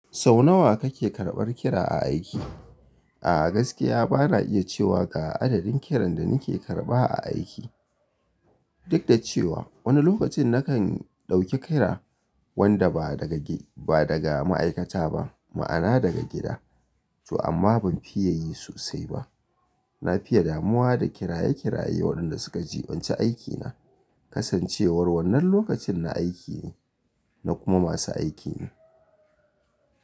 Sau nawa kake karɓar kira a aiki? A gaskiya bana iya cewa ga adadin kiran da nake karɓa a aiki. Duk da cewa wani lokacin nakan ɗauki kira wanda ba daga gi, ba daga ma'aikata ba, ma'ana daga gida. To amma ban fiye yi sosai ba. Nafiya damuwa da kiraye-kiraye waɗanda suka jiɓanci aikina. Kasancewar wannan lokacin na aiki ne, na kuma masu aikin.